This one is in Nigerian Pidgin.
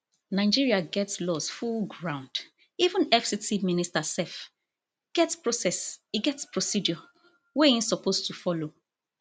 nigeria get laws full ground even fct minister sef get process e get procedure wey im suppose to follow